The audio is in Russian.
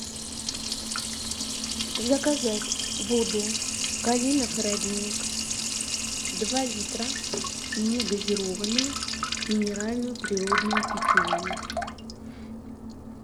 заказать воду калинов родник два литра негазированную минеральную природную питьевую